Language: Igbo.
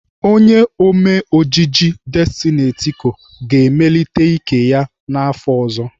Onye Ome ojiji Destiny Etiko ga-emelite ike ya n'afọ ọzọ.